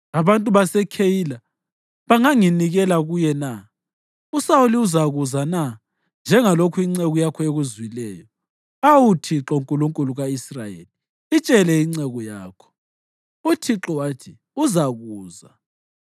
Abantu baseKheyila banganginikela kuye na? USawuli uzakuza na njengalokhu inceku yakho ekuzwileyo? Awu Thixo Nkulunkulu ka-Israyeli, itshele inceku yakho.” UThixo wathi, “Uzakuza.”